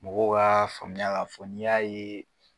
Mɔgɔ k'a faamuya k'a fɔ ni y'a ye.